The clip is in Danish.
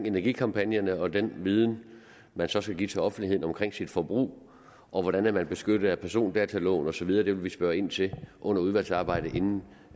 energikampagnerne og den viden man så skal give til offentligheden om sit forbrug og hvordan man er beskyttet af persondataloven og så videre det vil vi spørge ind til under udvalgsarbejdet inden